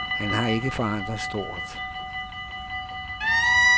Han har ikke forandret stort.